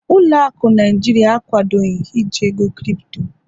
ụlọ akụ Naijiria akwadoghi iji ego Kripto